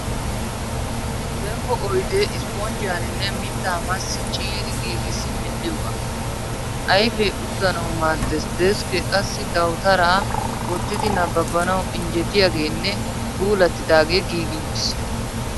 Zemppo oyidee isiponjjiyaaninne mittaa maassi ciiri giigissi medhidoogaa. Ayifee uttanawu maaddes deskke qassi dawutaraa wottidi nababanawu injjetiyagenne puulattidaagee giigi uttis.